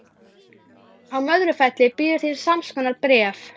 Á Möðrufelli býður þín samskonar bréf.